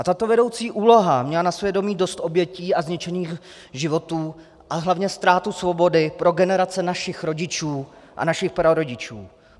A tato vedoucí úloha měla na svědomí dost obětí a zničených životů a hlavně ztrátu svobody pro generace našich rodičů a našich prarodičů.